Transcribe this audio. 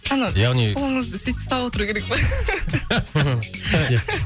ана яғни қолыңызды сөйтіп ұстап отыру керек па